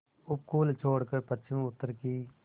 उपकूल छोड़कर पश्चिमउत्तर की